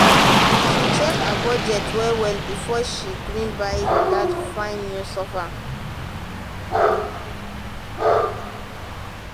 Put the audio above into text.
she check her budget well well before she gree buy um that fine um new sofa. um